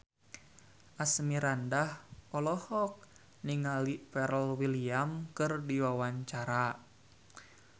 Asmirandah olohok ningali Pharrell Williams keur diwawancara